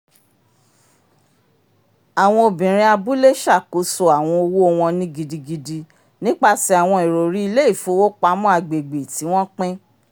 àwọn obìnrin abúlé ṣàkóso àwọn owó wọn ni gidigidi nipasẹ awọn iròrí ilé-ifòwópamọ agbègbè ti wọn pín